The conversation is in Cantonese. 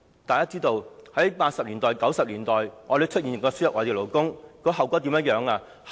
大家也知道，在1980、1990年代，我們曾輸入外地勞工，後果如何？